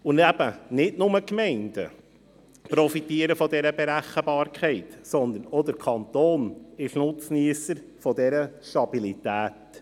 Und eben: Nicht nur die Gemeinden profitieren von dieser Berechenbarkeit, sondern auch der Kanton ist Nutzniesser dieser Stabilität.